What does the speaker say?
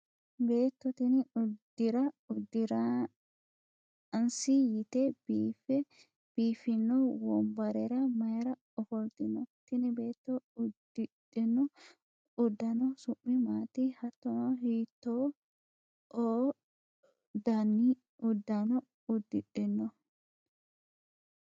beetto tini uddira uddiraansi yite biiffe biiffino wombarera mayiira ofoltino? tini beetto uddidhino uddano su'mi maati? hattono hiitto o daniuddano uddidhino?